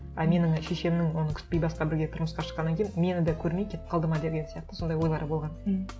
а менің шешемнің оны күтпей басқа біреуге тұрмысқа шыққаннан кейін мені де көрмей кетіп қалды ма деген сияқты сондай ойлары болған м